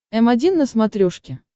м один на смотрешке